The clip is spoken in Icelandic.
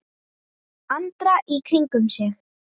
Andra í kringum sig.